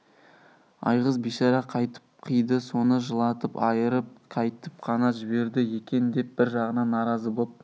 айғыз бишара қайтып қиды соны жылатып айырып қайтіп қана жіберді екен деп бір жағынан наразы боп